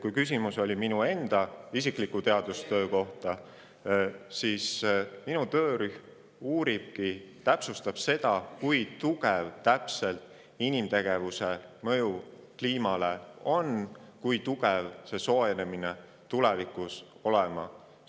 Kui küsimus oli minu enda teadustöö kohta, siis minu töörühm uuribki ja täpsustab seda, kui täpselt on inimtegevuse mõju kliimale ja kui see soojenemine tulevikus võiks olla.